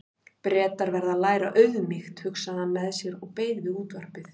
Bretar verða að læra auðmýkt, hugsaði hann með sér og beið við útvarpið.